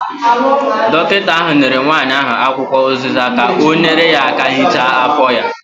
Dọkịta ahụ nyere nwanyị ahụ akwụkwọ ụziza ka ọ nyere aka hichaa afọ ya.